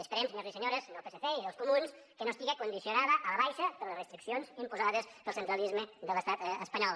esperem senyors i senyores del psc i dels comuns que no estigui condicionada a la baixa per les restriccions imposades pel centralisme de l’estat espanyol